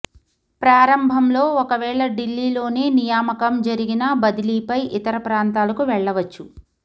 ప్రారంభంలో ఒకవేళ ఢిల్లీలోనే నియామకం జరిగినా బదిలీపై ఇతర ప్రాంతాలకు వెళ్ళవచ్చు